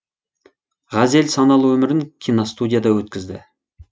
ғазел саналы өмірін киностудияда өткізді